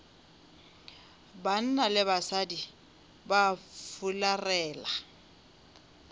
banna le basadi ba fularela